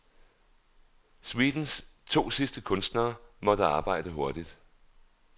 Suitens to sidste kunstnere måtte arbejde hurtigt.